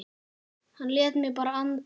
Hann lét mig bara anda.